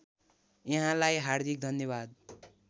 यहाँलाई हार्दिक धन्यवाद